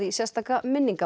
sérstaka